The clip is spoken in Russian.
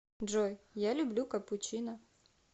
джой я люблю капучино